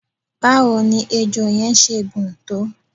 báwo ni ejò yẹn ṣe gùn tó?